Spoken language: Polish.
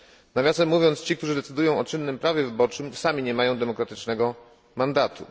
Nawiasem mówiąc, ci, którzy decydują o czynnym prawie wyborczym, sami nie mają demokratycznego mandatu.